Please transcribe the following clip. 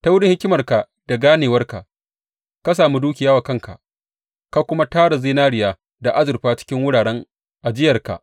Ta wurin hikimarka da ganewarka ka sami dukiya wa kanka ka kuma tara zinariya da azurfa cikin wuraren ajiyarka.